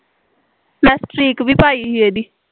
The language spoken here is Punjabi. ਮੈਂ ਸਟ੍ਰੀਕ ਵੀ ਪਾਈ ਸੀ ਏਹਦੀ